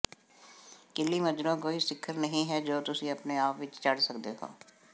Kilimanjaro ਕੋਈ ਸਿਖਰ ਨਹੀਂ ਹੈ ਜੋ ਤੁਸੀਂ ਆਪਣੇ ਆਪ ਵਿਚ ਚੜ੍ਹ ਸਕਦੇ ਹੋ